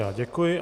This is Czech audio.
Já děkuji.